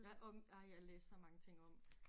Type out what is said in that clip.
Jeg om ej jeg læste så mange ting om